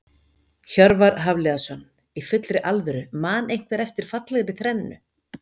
Hjörvar Hafliðason Í fullri alvöru man einhver eftir fallegri þrennu?